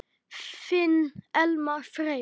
Þinn Elmar Freyr.